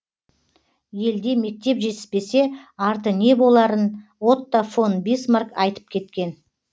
елде мектеп жетіспесе арты не боларын отто фон бисмарк айтып кеткен